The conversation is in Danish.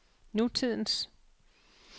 nutidens